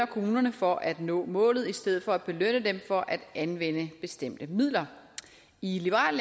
kommunerne for at nå målet i stedet for at belønne dem for at anvende bestemte midler i liberal